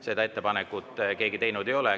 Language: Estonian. Seda ettepanekut keegi teinud ei ole.